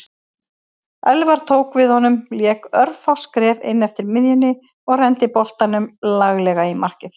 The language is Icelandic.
Elfar tók við honum lék örfá skref inneftir miðjunni og renndi boltanum laglega í markið.